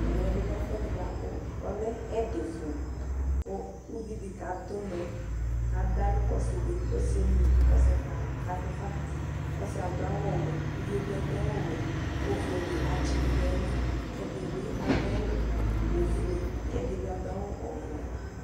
Amɛbi lɛ ɛfʋɛdi buakʋ ɔlɛ ɛdifʋ kʋ ʋvidi kadʋ ʋnɔ adawli kʋ ɔsidi kʋ ɔsi yɛ emli kʋ ɔkakatʋ fa ɔsi yɛ adʋ awʋwɛ kʋ ʋvie bi adʋ awʋwɛ kʋ ofuele atsidʋ nʋ ayili kʋ ɛdibi adʋ awʋ ofue kʋ ɛdibi adʋ awʋ ɔvɛ